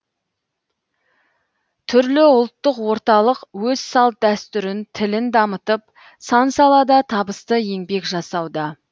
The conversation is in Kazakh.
түрлі ұлттық орталық өз салт дәстүрін тілін дамытып сан салада табысты еңбек жасауда